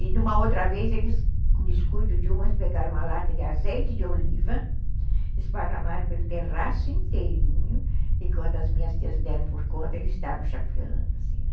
E numa outra vez, eles, com descuido de uma, eles pegaram uma lata de azeite de oliva, esparramaram pelo terraço inteirinho, e quando as minhas tias deram por conta, eles estavam chapeando, assim, né?